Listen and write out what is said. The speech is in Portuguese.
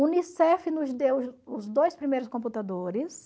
Unicef nos deu os os dois primeiros computadores,